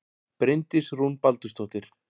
Bryndís Rún Baldursdóttir